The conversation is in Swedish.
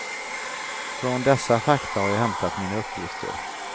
Från dessa fakta har jag hämtat mina uppgifter.